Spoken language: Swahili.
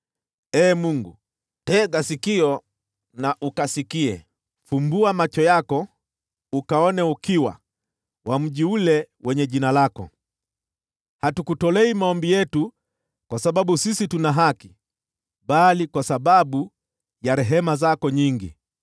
Ee Mungu, tega sikio na ukasikie; fumbua macho yako ukaone ukiwa wa mji ule wenye Jina lako. Hatukutolei maombi yetu kwa sababu sisi tuna haki, bali kwa sababu ya rehema zako nyingi.